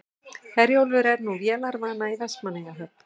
Herjólfur er nú vélarvana í Vestmannaeyjahöfn